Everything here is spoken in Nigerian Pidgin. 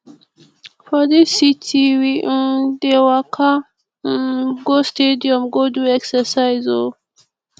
for dis city we um dey waka um go stadium go do exercise o